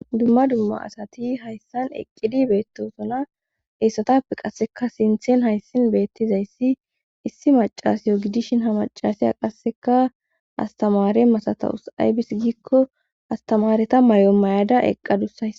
Dumma dumma asati hayssan eqqidi beettosona eessatappe qasseka sinthen hayssin beettizayssi issi macasiyo gidishin ha macasaya qasseka astamare masatawus aybis giikko astamareta may'o mayada eqqadussay.